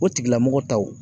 O tigilamɔgɔ taw